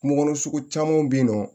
Kungo kɔnɔ sugu caman bɛ yen nɔ